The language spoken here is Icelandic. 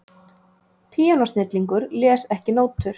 Píanósnillingur les ekki nótur